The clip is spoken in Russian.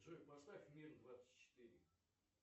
джой поставь миг двадцать четыре